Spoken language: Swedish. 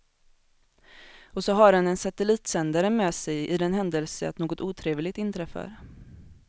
Och så har han en satellitsändare med sig i den händelse att något otrevligt inträffar.